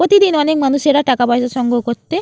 প্রতিদিন অনেক মানুষেরা টাকা পয়সা সংগ্রহ করতে --